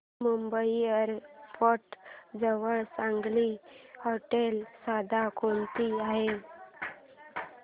Mumbai airport जवळ चांगली हॉटेलं सध्या कोणती आहेत